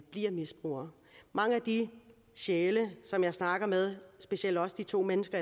bliver misbruger mange af de sjæle som jeg snakker med specielt også de to mennesker